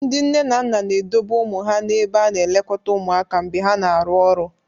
Ndị nne na nna na-edobe ụmụ ha n'ebe a na-elekọta ụmụaka mgbe ha na-arụ ọrụ.